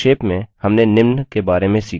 संक्षेप में हमने निम्न बारे में सीखा